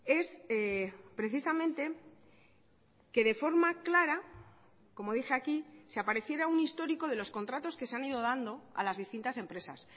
es precisamente que de forma clara como dije aquí se apareciera un histórico de los contratos que se han ido dando a las distintas empresas